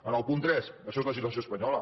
en el punt tres això és legislació espanyola